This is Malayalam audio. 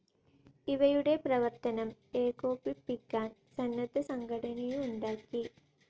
ഇവയുടെ പ്രവർത്തനം ഏകോപിപ്പിക്കാൻ സന്നദ്ധ സംഘടനയുണ്ടാക്കി.